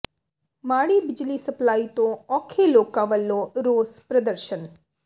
ਮਾੜੀ ਬਿਜਲੀ ਸਪਲਾਈ ਤੋਂ ਔਖੇ ਲੋਕਾਂ ਵੱਲੋਂ ਰੋਸ ਪ੍ਰਦਰਸ਼ਨ